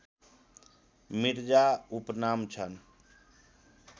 मिर्जा उपनाम छन्